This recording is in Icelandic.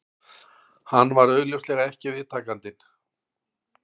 Hann var augljóslega ekki viðtakandinn